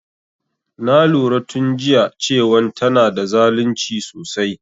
Na lura tun jiya cewan tana da zalunci sosai